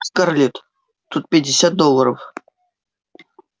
скарлетт тут пятьдесят долларов